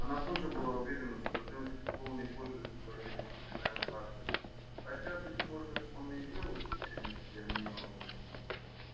она тоже была уверена что женский пол не пользуется уважением капитана батлера хотя быть может он и делал исключение для мелани